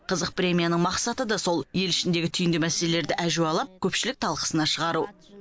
қызық премияның мақсаты да сол ел ішіндегі түйінді мәселелерді әжуалап көпшілік талқысына шығару